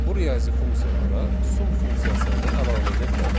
Bu riyazi funksiyalara sum funksiyasını da əlavə edə bilərik.